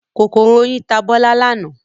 Kòkòrò oyin ta Bọ́lá lánàá.